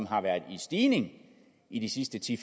har været i stigning i de sidste ti